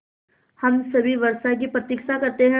हम सभी वर्षा की प्रतीक्षा करते हैं